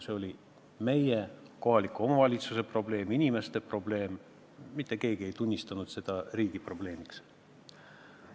See oli meie, kohaliku omavalitsuse probleem, inimeste probleem, mitte keegi ei tunnistanud seda riigi probleemiks.